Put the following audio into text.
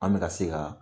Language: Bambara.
An bɛ ka se ka